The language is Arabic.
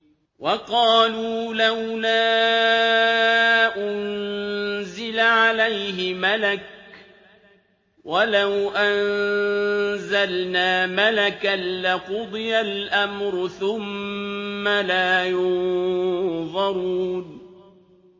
وَقَالُوا لَوْلَا أُنزِلَ عَلَيْهِ مَلَكٌ ۖ وَلَوْ أَنزَلْنَا مَلَكًا لَّقُضِيَ الْأَمْرُ ثُمَّ لَا يُنظَرُونَ